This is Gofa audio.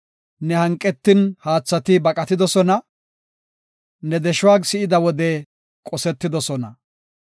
Ne hanqetin haathati baqatidosona; ne deshuwa si7ida wode qosetidosona.